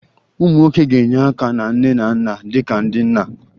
Ụmụ nwoke ga-enye aka na nne na nna dị ka ndị nna